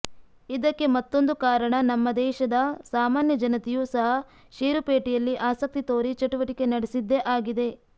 ಇದಕ್ಕೆ ಮತ್ತೊಂದು ಕಾರಣ ನಮ್ಮ ದೇಶದ ಸಾಮಾನ್ಯ ಜನತೆಯೂ ಸಹ ಷೇರುಪೇಟೆಯಲ್ಲಿ ಆಸಕ್ತಿ ತೋರಿ ಚಟುವಟಿಕೆ ನಡೆಸಿದ್ದೇ ಆಗಿದೆ